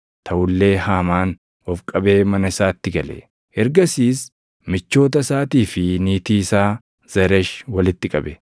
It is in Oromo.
Taʼu illee Haamaan of qabee mana isaatti gale. Ergasiis michoota isaatii fi niitii isaa Zeresh walitti qabe;